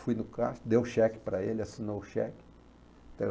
Fui no caixa, dei o cheque para ele, assinou o cheque.